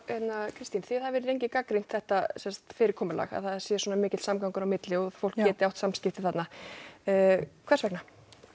Kristín þið hafið lengi gagnrýnt þetta fyrirkomulag að það sé svona mikill samgangur þarna á milli og að fólk geti átt samskipti þarna hvers vegna